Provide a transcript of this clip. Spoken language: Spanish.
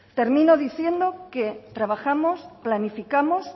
termino diciendo que trabajamos y planificamos